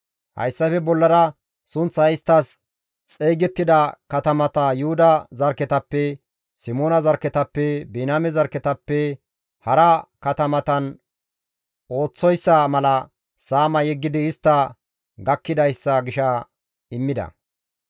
Hayssafe bollara sunththay isttas xeygettida katamata Yuhuda zarkketappe, Simoona zarkketappe, Biniyaame zarkketappe hara katamatan ooththoyssa mala Saama yeggidi istta gakkidayssa gisha immida.